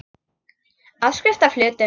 Áskrift að hlutum.